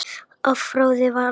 Afráðið var að